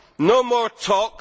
No more talk